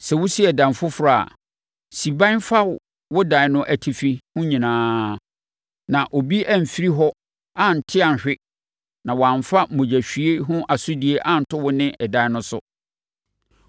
Sɛ wosi ɛdan foforɔ a, si ban fa wo ɛdan no atifi ho nyinaa, na obi amfiri hɔ ante anhwe na woamfa mogyahwie ho asodie anto wo ne wo ɛdan no so.